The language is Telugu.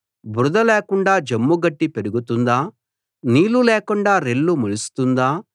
బురద లేకుండా జమ్ము గడ్డి పెరుగుతుందా నీళ్లు లేకుండా రెల్లు మొలుస్తుందా